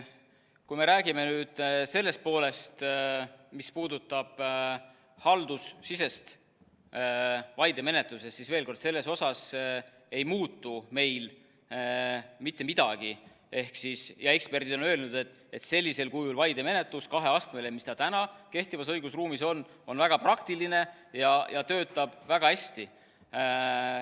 Kui me räägime nüüd sellest, mis puudutab haldusesisest vaidemenetlust, siis veel kord, selles osas ei muutu meil mitte midagi, ja eksperdid on öelnud, et selline kaheastmeline vaidemenetlus, mis täna kehtivas õigusruumis on, on väga praktiline ja töötab väga hästi.